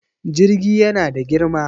Jirgi yana da girma.